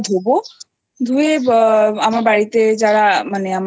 গাহাতপা ধোবো ধুয়ে আমার বাড়িতে যারা মানে আমার